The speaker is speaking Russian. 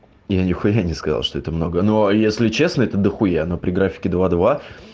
я нехуя не сказал что это много ну а если честно это дохуя но при графике два два